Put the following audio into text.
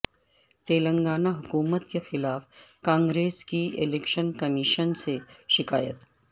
تلنگانہ حکومت کے خلاف کانگریس کی الیکشن کمیشن سے شکایت